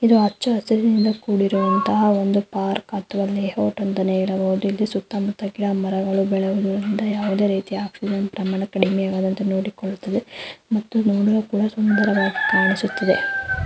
ಇದು ಹಚ್ಚ ಹಸಿರಿನಿಂದ ಕೂಡಿರೋವಂತಹ ಒಂದು ಪಾರ್ಕ್ ಇಲ್ಲಿ ಸುತ್ತ ಮುತ್ತ ಗಿಡ ಮರಗಳು ಮತ್ತು ನೋಡಲು ಕೂಡ ಸುಂದರವಾಗಿ ಕಾಣಿಸುತ್ತಿದೆ.